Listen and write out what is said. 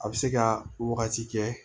A bɛ se ka wagati kɛ